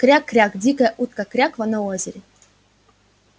кряк-кряк дикая утка кряква на озере